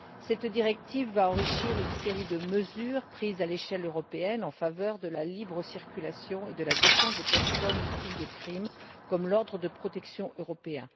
Cette directive va enrichir une série de mesures prises à l'échelle européenne en faveur de la libre circulation et de la défense des personnes victimes de crimes, comme l'ordre de protection européen.